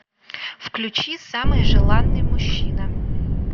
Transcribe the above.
включи самый желанный мужчина